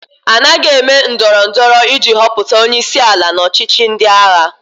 A naghị eme ndọrọ ndọrọ iji họpụta onye isi ala n'ọchịchị ndị agha.